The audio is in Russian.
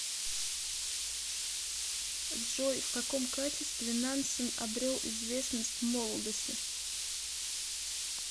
джой в каком качестве нансен обрел известность в молодости